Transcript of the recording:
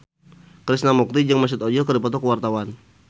Krishna Mukti jeung Mesut Ozil keur dipoto ku wartawan